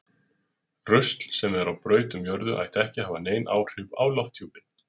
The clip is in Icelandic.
Rusl sem er á braut um jörðu ætti ekki að hafa nein áhrif á lofthjúpinn.